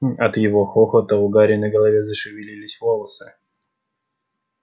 от его хохота у гарри на голове зашевелились волосы